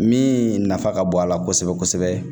Min nafa ka bon a la kosɛbɛ kosɛbɛ